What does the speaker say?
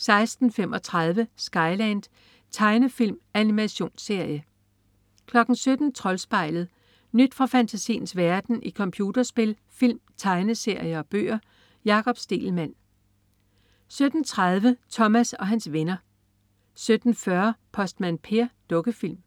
16.35 Skyland. Tegnefilm/animationsserie 17.00 Troldspejlet. Nyt fra fantasiens verden i computerspil, film, tegneserier og bøger. Jakob Stegelmann 17.30 Thomas og hans venner 17.40 Postmand Per. Dukkefilm